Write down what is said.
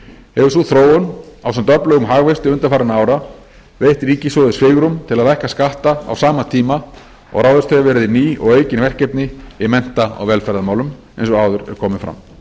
hefur sú þróun ásamt öflugum hagvexti undanfarinna ára veitt ríkissjóði svigrúm til að lækka skatta á sama tíma og ráðist hefur verið í ný og aukin verkefni í mennta og velferðarmálum eins og áður er komið fram